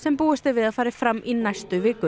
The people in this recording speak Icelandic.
búist er við að fari fram í næstu viku